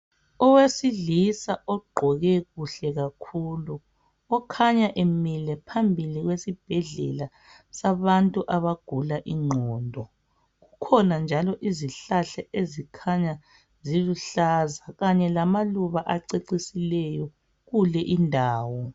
Owesilisa ogqoke kuhle kakhulu okhanya emile phambili kwesibhedlela sabantu abagula ingqondo. Kukhona njalo izihlahla ezikhanya ziluhlaza kanye lamaluba acecisileyo kule indawo.